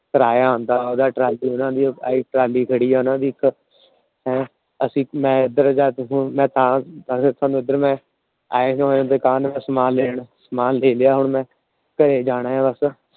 ਕਿਰਾਇਆ ਆਉਂਦਾ ਏ ਉਹਦਾ ਟਰਾਲੀ ਉਹਨਾਂ ਟਰਾਲੀ ਖੜੀ ਏ ਓਹਨਾ ਦੀ ਇੱਕ । ਅਸੀਂ ਮੈ ਸਮਾਨ ਲੈਣ ਸਮਾਨ ਲੈ ਲਿਆ ਮੈ। ਘਰੇ ਜਾਣਾ ਆ ਬਸ